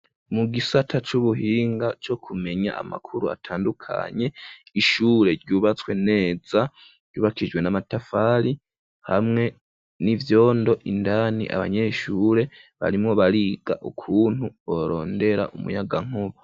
Mu gisata c'ubuhinga co kumenya amakuru atandukanye ishure ryubatswe neza ryubakijwe n'amatafari hamwe n'ivyondo indani abanyeshure barimwo bariga ukuntu borondera umuyagankuba.